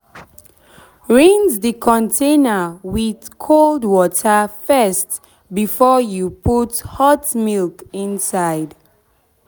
rinse the container with cold water first before you put hot milk inside.